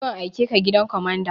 Zo in aikeka gidan kwamanda!